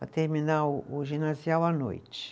Para terminar o o ginasial à noite.